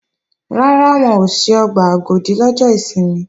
Rárá, wọn ò ṣí ọgbà Agodi lọ́jọ́ ìsinmi